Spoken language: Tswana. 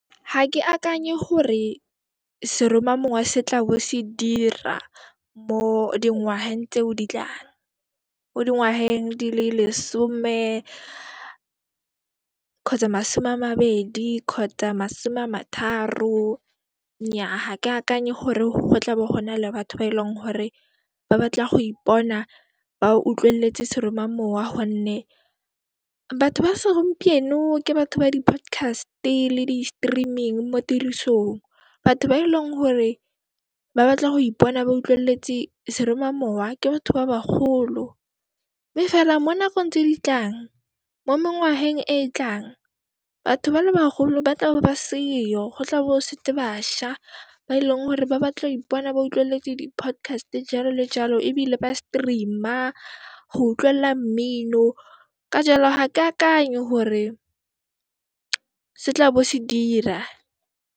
Ha ke akanye hore seromamowa setla bo se dira mo dingwaheng tseo di tlang, mo dingwaheng di le lesome kgotsa masome a mabedi kgotsa masome a matharo. Nnyaa, ha ke akanye hore ho tla bo ho nale batho ba e leng hore ba batla go ipona ba utlwelletse seromamowa gonne batho ba se gompieno ke batho ba di podcast-e le di streaming mo tirisong. Batho ba e leng hore ba batla go ipona ba utlwelletse seromamowa, ke batho ba bagolo mme fela mo nakong tse ditlang, mo mengwaheng e e tlang, batho ba le bagolo ba tlabo ba seyo go tla bo go setse bašwa ba e leng gore ba batla o ipona ba utlwelletse di podcast-e jaalo le jaalo ebile ba stream-a go utlwella mmino. Ka jaalo ga ke akanye hore se tla bo se dira.